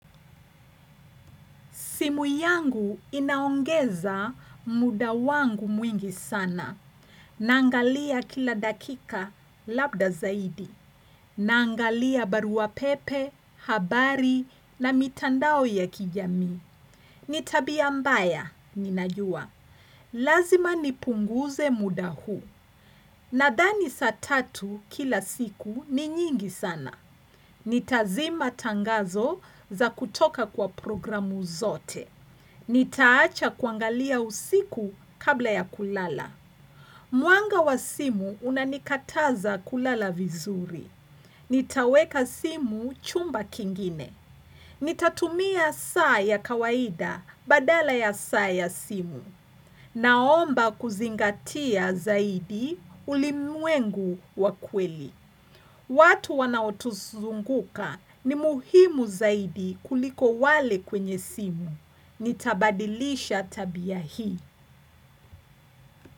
Simu yangu inaongeza muda wangu mwingi sana. Naangalia kila dakika labda zaidi. Naangalia baruapepe, habari na mitandao ya kijami. Ni tabia mbaya, ninajua. Lazima nipunguze muda huu. Nadhani saa tatu kila siku ni nyingi sana. Nitazima tangazo za kutoka kwa programu zote. Nitaacha kuangalia usiku kabla ya kulala. Mwanga wa simu unanikataza kulala vizuri. Nitaweka simu chumba kingine. Nitatumia saa ya kawaida badala ya saa ya simu. Naomba kuzingatia zaidi ulimwengu wa kweli. Watu wanaotuzunguka ni muhimu zaidi kuliko wale kwenye simu. Nitabadilisha tabia hii.